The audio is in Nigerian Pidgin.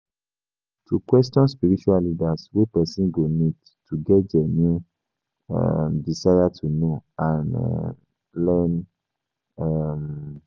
To question spiritual leaders we person go need to get genuine um desire to know and um learn um